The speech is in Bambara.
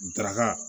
Darakan